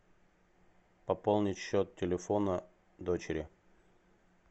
пополнить счет телефона дочери